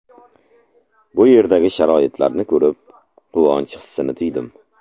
Bu yerdagi sharoitlarni ko‘rib, quvonch hissini tuydim.